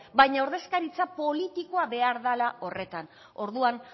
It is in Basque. baina ordezkaritza politikoa behar dela horretan orduan